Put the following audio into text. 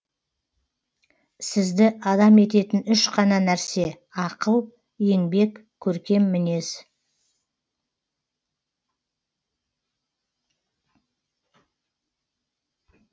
сізді адам ететін үш қана нәрсе ақыл еңбек көркем мінез